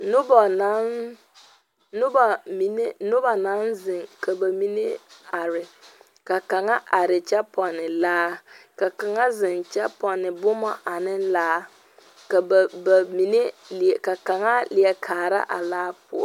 Noba naŋ noba mine noba naŋ zeŋ ka bamine are ka kaŋa are kyɛ pɔne laa kaŋa zeŋ kyɛ pɔne boma ane laa ka ba ba bamine ka kaŋa a leɛ kaara a laa poɔ.